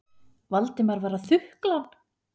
Valdimar var að þukla hann.